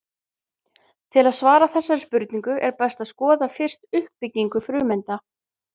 Til að svara þessari spurningu er best að skoða fyrst uppbyggingu frumeinda.